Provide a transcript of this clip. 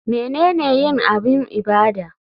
Menene yin abun ibada?